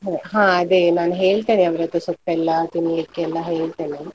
ಹಾ ಅದೇ ನಾನ್ ಹೇಳ್ತೇನೆ ಅವ್ರ್ ಹತ್ರ, ಸೊಪ್ಪೆಲ್ಲಾ ತಿನ್ಲಿಕ್ಕೆ ಎಲ್ಲಾ ಹೇಳ್ತೇನೆ.